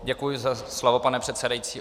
Děkuji za slovo, pane předsedající.